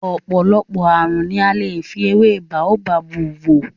Ọ̀pọ̀lọpọ̀ ààrùn ni a lè fi ewé Baobab wò.